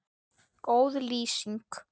Góð lýsing?